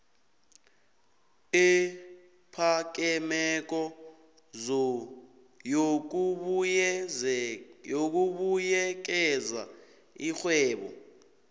ephakemeko yokubuyekeza iingwebo